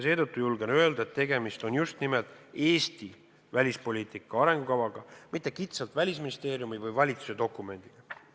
Seetõttu julgen öelda, et tegemist on just nimelt Eesti välispoliitika arengukavaga, mitte kitsalt Välisministeeriumi või valitsuse dokumendiga.